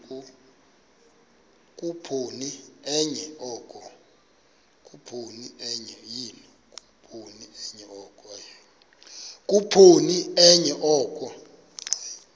khuphoni enye oko